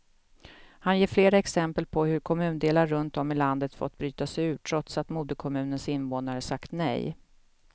Han ger flera exempel på hur kommundelar runt om i landet fått bryta sig ur, trots att moderkommunens invånare sagt nej.